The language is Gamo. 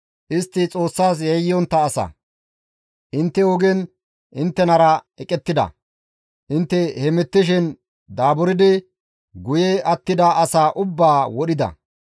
Istti Xoossas yayyontta asa; intte ogen inttenara eqettida; intte hemettishin daaburdi guye attida asaa ubbaa wodhida.